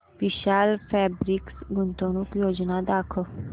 विशाल fabrics गुंतवणूक योजना दाखव